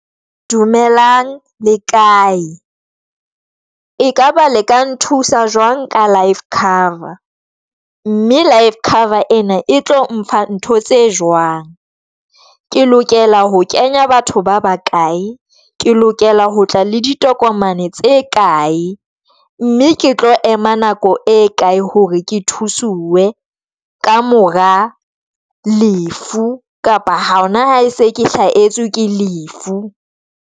Dumelang le kae e kaba le ka nthusa jwang ka life cover, mme life cover ena e tlo mpha ntho tse jwang, Ke lokela ho kenya batho ba bakae, Ke lokela ho tla le ditokomane tse kae, mme ke tlo ema nako e kae hore ke thusuwe ka mora lefu kapa ha hona ha e se ke hlahetswe ke lefu?